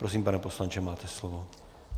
Prosím, pane poslanče, máte slovo.